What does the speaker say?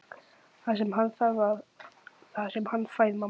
Það sem hann þarf er það sem hann fær, mamma.